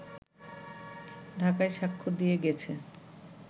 ঢাকায় সাক্ষ্য দিয়ে গেছে